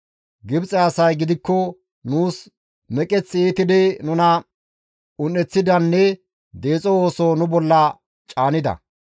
Gibxe asay gidikko nuus meqeth iitidi nuna un7eththidanne deexo ooso nu bolla caanida.